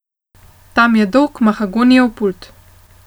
Tam je dolg mahagonijev pult.